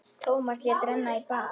Tómas lét renna í bað.